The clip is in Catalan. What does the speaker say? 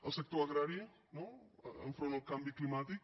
el sector agrari no enfront el canvi climàtic